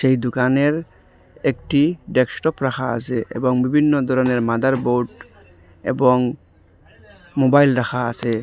এই দুকানের একটি ডেক্সটপ রাখা আসে এবং বিভিন্ন ধরনের মাদারবোর্ড এবং মোবাইল রাখা আসে ।